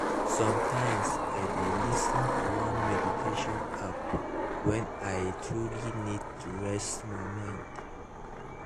sometimes i dey lis ten to one meditation app when i truly need to reset my mind